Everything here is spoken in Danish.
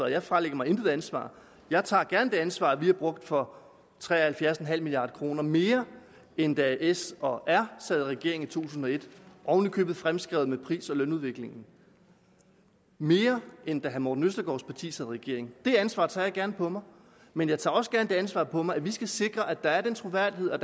jeg fralægger mig intet ansvar jeg tager gerne det ansvar at vi har brugt for tre og halvfjerds milliard kroner mere end da s og r sad i regering i to tusind og et oven i købet fremskrevet med pris og lønudviklingen mere end da herre morten østergaards parti sad i regering det ansvar tager jeg gerne på mig men jeg tager også gerne det ansvar på mig at vi skal sikre at der er troværdighed og